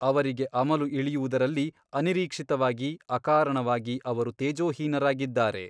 ಅವರಿಗೆ ಅಮಲು ಇಳಿಯುವುದರಲ್ಲಿ ಅನಿರೀಕ್ಷಿತವಾಗಿ ಅಕಾರಣವಾಗಿ ಅವರು ತೇಜೋಹೀನರಾಗಿದ್ದಾರೆ.